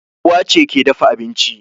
Uwa ce ke dafa abinci